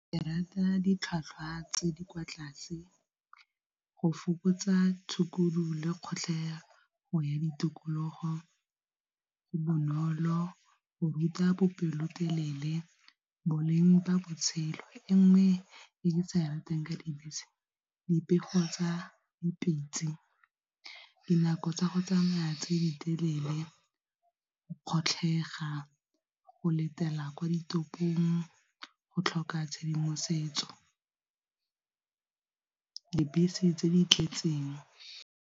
Ke rata ditlhwatlhwa tse di kwa tlase, go fokotsa tshukudu le kgotlhelego ya ditokologo, go bonolo go ruta bopelotelele boleng jwa botshelo. E nngwe e ke sa e ratang ka dibese dipego tsa dipitse, dinako tsa go tsamaya tse di telele, go kgatlhega go letela kwa ditopong, go tlhoka tshedimosetso, dibese tse di tletseng.